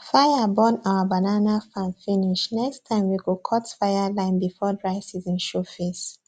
fire burn our banana farm finish next time we go cut fireline before dry season show face